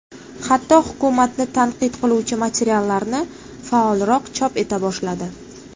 Hatto, hukumatni tanqid qiluvchi materiallarni faolroq chop eta boshladi.